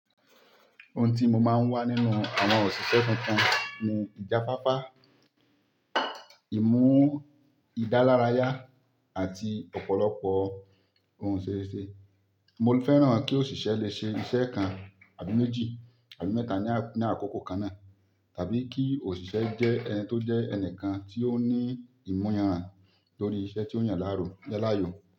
Ohun tí mo máa ń wá nínú àwọn òṣìṣẹ́ tuntun ni ìjáfafá, ìmú ìdálárayá àti ọ̀pọ̀lọpọ̀ ohun ṣeéṣe. Mo lè fẹ́ràn kí òṣìṣẹ́ lè ṣe iṣẹ́ kan àbí méjì àbí mẹ́ta ní àkókò kan náà, tàbí kí òṣìṣẹ́ jẹ́ ẹni tó jẹ́ ẹni kan tí ó ní ìmuyànran lórí iṣẹ́ tí ó yàn láàárọ̀ yálàyò.